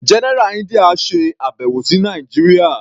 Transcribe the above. General India ṣe àbẹ̀wò sí Nàìjíría.